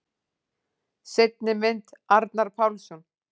Seinni mynd: Arnar Pálsson.